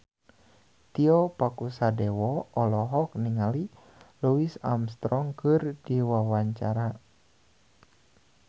Tio Pakusadewo olohok ningali Louis Armstrong keur diwawancara